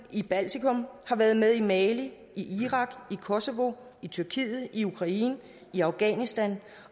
i baltikum været med i mali irak i kosovo i tyrkiet i ukraine og i afghanistan